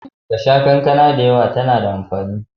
Ka sha kankana da yawa tana da amfani.